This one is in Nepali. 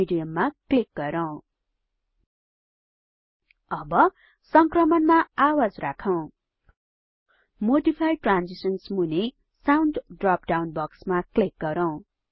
मेडियम मा क्लिक गरौँ अब संक्रमणमा आवाज राखौं मोडिफाई ट्रान्जिशन्स मूनि साउण्ड ड्रप डाउन बक्समा क्लिक गरौँ